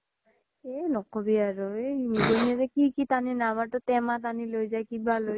এ নকবি আৰু কি কি তানি আমাৰ তো তেমা তানি লই যাই কিবা লই যাই